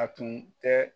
A tun tɛ